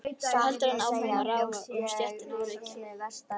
Svo heldur hann áfram að ráfa um stéttina og reykja.